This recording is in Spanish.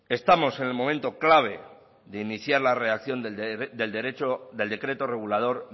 estamos en el momento clave de iniciar la redacción del derecho del decreto regulador